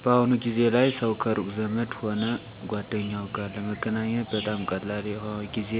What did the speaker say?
በአሁኑ ጊዜ ላይ ሠው ከሩቅ ዘመድ ሆነ ጓደኛው ጋር ለመገናኘት በጣም ቀላል የሆ ጊዜ